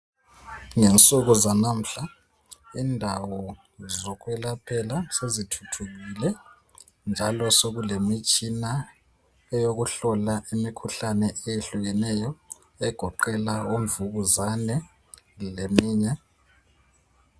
Ngensuku zalamuhla indawo zokwelaphela sezithuthukile njalo sekulemitshina yokuhlola imikhuhlane eyehlukeneyo egoqela imvukuzane leminye.